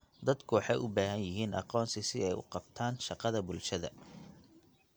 Dadku waxay u baahan yihiin aqoonsi si ay u qabtaan shaqada bulshada.